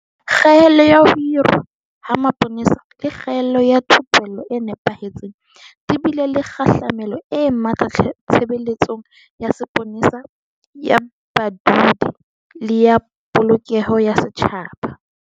Kgaello ya ho hirwa ha mapolesa le kgaello ya thupello e nepahetseng di bile le kgahlamelo e matla tshebeletsong ya sepolesa ya badudi le ya Polokeho ya Setjhaba.